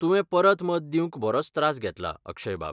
तुवें परत मत दिवंक बरोच त्रास घेतला, अक्षय बाब .